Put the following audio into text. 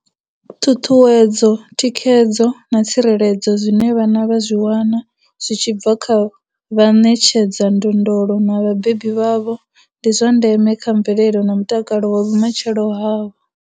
Ṱhuṱhuwedzo, thikhedzo na tsireledzo zwine vhana vha zwi wana zwi tshi bva kha vha ṋetshedza ndondolo na vhabebi vhavho ndi zwa ndeme kha mvelelo na mutakalo wa vhumatshelo havho.